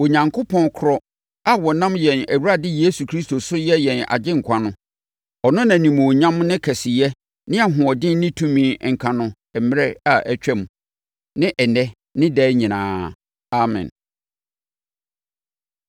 Onyankopɔn korɔ a ɔnam yɛn Awurade Yesu Kristo so yɛ yɛn Agyenkwa no, ɔno na animuonyam ne kɛseyɛ ne ahoɔden ne tumi nka no mmerɛ a atwam, ne ɛnnɛ ne daa nyinaa. Amen.